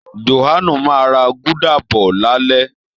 Jòhánù máa ra gúdà bọ̀ lálẹ́